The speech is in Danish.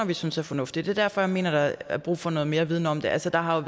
vi synes er fornuftige det er derfor jeg mener der er brug for noget mere viden om det altså der har